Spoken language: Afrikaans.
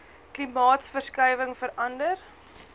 klimaatsverskuiwinhg vera nder